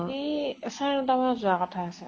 সি চাৰে ন টা মানত যোৱা কথা আছে